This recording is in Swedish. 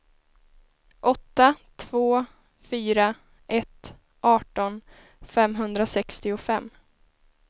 åtta två fyra ett arton femhundrasextiofem